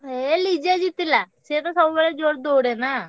ଏ Liza ଜିତିଲା ସିଏ ତ ସବୁବେଳେ ଜୋର ଦୌଡେ ନାଁ।